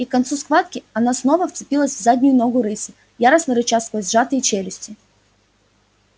и к концу схватки она снова вцепилась в заднюю ногу рыси яростно рыча сквозь сжатые челюсти